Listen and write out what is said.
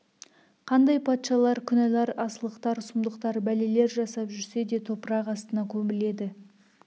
қандай патшалар күнәлар асылықтар сұмдықтар бәлелер жасап жүрсе де топырақ астына көміледі